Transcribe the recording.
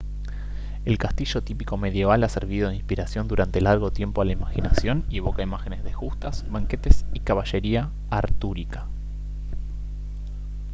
el castillo típico medieval ha servido de inspiración durante largo tiempo a la imaginación y evoca imágenes de justas banquetes y caballería artúrica